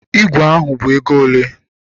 Ígwè ahụ bụ ego ole?